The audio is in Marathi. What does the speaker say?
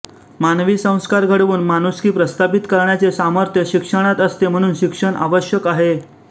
मानवी संस्कार घडवून माणूसकी प्रस्थापित करण्याचे सामर्थ्य शिक्षणात असते म्हणून शिक्षण आवश्यक आहे